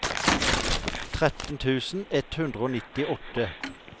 tretten tusen ett hundre og nittiåtte